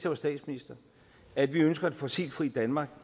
var statsminister at vi ønsker et fossilfrit danmark